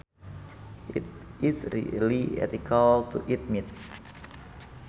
Is it really ethical to eat meat